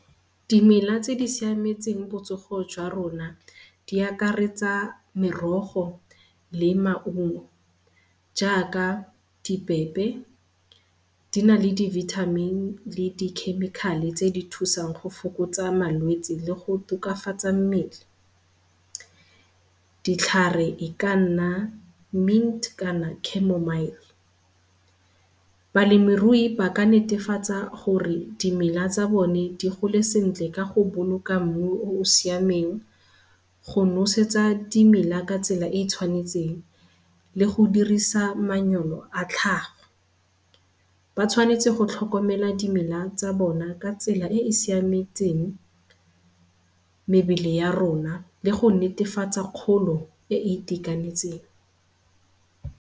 Dimela tse di siametseng botsogo jwa rona di akaretsa merogo le maungo jaaka dibebe, di na le dibithamini le di-chemical-e tse di thusang go fokotsa malwetsi le go tokafatsa mmele. Ditlhare e ka nna mint kana chamomile. Balemirui ba ka netefatsa gore dimela tsa bone di gole sentle ka go boloka mmu o o siameng go nosetsa dimela ka tsela e e tshwanetseng le go dirisa a tlhago. Ba tshwanetse go tlhokomela dimela tsa bona ka tsela e e siametseng mebele ya rona le go netefatsa kgolo e e itekanetseng.